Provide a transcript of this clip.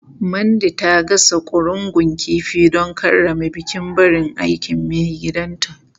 Mandy ta gasa ƙurungun kifi don karrama bukin barin aikin maigidanta.